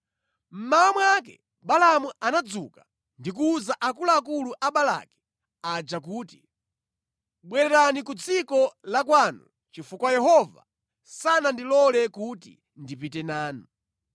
Mmawa mwake Balaamu anadzuka ndi kuwuza akuluakulu a Balaki aja kuti, “Bwererani ku dziko la kwanu chifukwa Yehova sanandilole kuti ndipite nanu.”